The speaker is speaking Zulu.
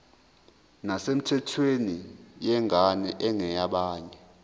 nesemthethweni yengane engeyabanye